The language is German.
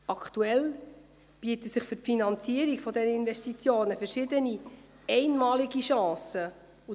Aktuell bieten sich zur Finanzierung dieser Investitionen verschiedene einmalige Chancen.